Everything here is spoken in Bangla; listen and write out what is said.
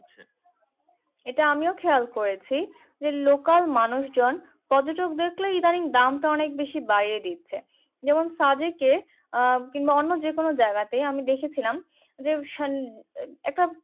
ইটা আমিও খেয়াল করেছি যে লোকাল মানুষজন পর্যটক দেখলেই ইদানিং দাম টা অনেক বেশি বাড়িয়ে দিচ্ছে যেমন সাজিকে বা অন্য যেকোনো জায়গাতে আমি দেখেছিলাম এক